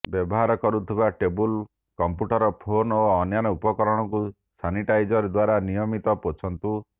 ବ୍ୟବହାର କରୁଥିବା table computer phone ଓ ଅନ୍ୟାନ୍ୟ ଉପକରଣକୁ ସାନିଟାଇଜର ଦ୍ବାରା ନିୟମିତ ପୋଛନ୍ତୁ